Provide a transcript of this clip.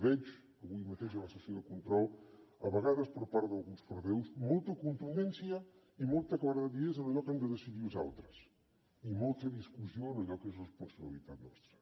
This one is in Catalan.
veig avui mateix a la sessió de control a vegades per part d’alguns portaveus molta contundència i molta claredat d’idees en allò que han de decidir els altres i molta discussió en allò que és responsabilitat nostra